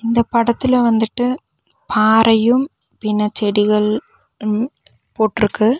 இந்த படத்துல வந்துட்டு பாறையும் பின்ன செடிகள் ம் போட்ருக்கு.